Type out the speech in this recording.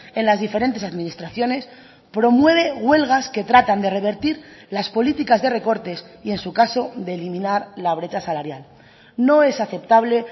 en las diferentes administraciones promueve huelgas que tratan de revertir las políticas de recortes y en su caso de eliminar la brecha salarial no es aceptable